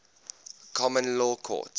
common law courts